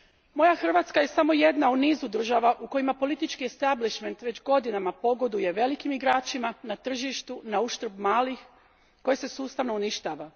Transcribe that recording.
Moja Hrvatska je samo jedna u nizu država u kojima politički establishment već godinama pogoduje velikim igračima na tržištu nauštrb malih koje se sustavno uništava.